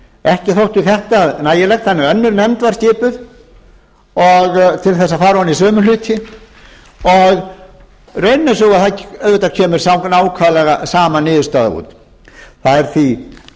ekki þótti þetta nægilegt þannig að önnur nefnd var skipuð til þess að fara ofan í sömu hluti og raunin er sú að auðvitað kemur nákvæmlega sama niðurstaða út það er því fullkomlega